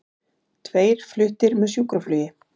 Tveir fluttir með sjúkraflugi